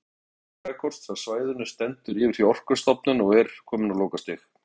Gerð ítarlegs jarðfræðikorts af svæðinu stendur yfir hjá Orkustofnun og er komin á lokastig.